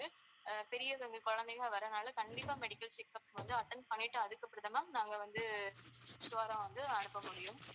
அஹ் பெரியவங்க குழந்தைங்க வர்றதால கண்டிப்பா medical checkup வந்து attend பண்ணிட்டு அதுக்கு அப்புறம் தான் ma'am நாங்க வந்து sure ஆ வந்து அனுப்ப முடியும்.